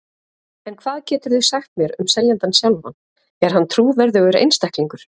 En hvað geturðu sagt mér um seljandann sjálfan, er hann trúverðugur einstaklingur?